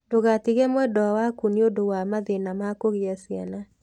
Ndũgatige mwendwa waku nĩ ũndũ wa mathĩna ma kũgĩa ciana.